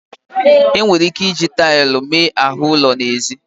E nwere ike iji taịlụ mee ahụ ụlọ n'ezi.